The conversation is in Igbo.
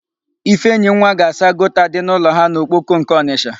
Ifeyinwa ga-asa gọta dị n'ụlọ ha n'Okpoko nke Ọnịsha.